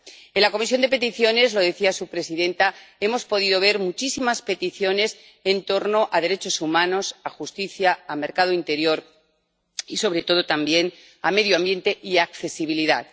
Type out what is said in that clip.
En la Comisión de Peticiones —lo decía su presidenta— hemos podido ver muchísimas peticiones en torno a derechos humanos, a justicia, a mercado interior y, sobre todo, a medio ambiente y accesibilidad.